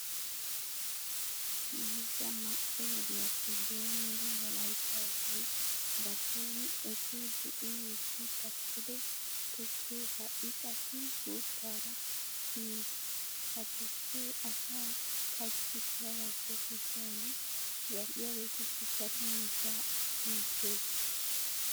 Mayzza ma"e wodiyappe doommidi wolaytta asay ba son essidi uyiiddi takkido tukkee ha"i qassi gutaraa kiyiis. Ha tukkee asaa papshkkissiyogaappe gujuwan zal"iyageetussi daro miishshaa demissees.